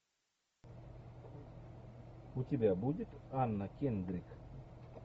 у тебя будет анна кендрик